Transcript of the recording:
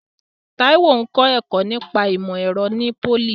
Taiwo ń kọ́ ẹ̀kọ́ nípa ìmọ̀ ẹ̀rọ ní pólì.